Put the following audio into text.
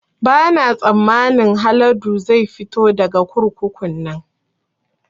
Ba na tsammanin Haladu zai fito daga kurkukun nan